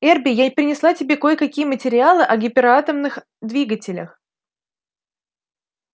эрби я принесла тебе кое-какие материалы о гиператомных двигателях